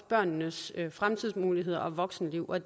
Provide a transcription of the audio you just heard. børnenes fremtidsmuligheder og voksenliv og